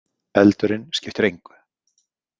Eldurinn skiptir engu!